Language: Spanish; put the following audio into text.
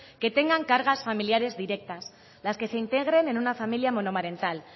que tengan cargas familiares directas las que se integren en una familia monomarental